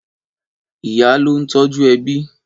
Ìyá lò n tòjú èbí